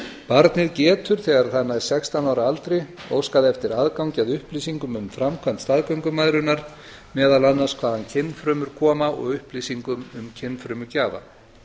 barnið getur þegar það nær sextán ára aldri óskað eftir aðgangi að upplýsingum um framkvæmd staðgöngumæðrunar meðal annars hvaðan kynfrumur koma og upplýsingum um kynfrumugjafa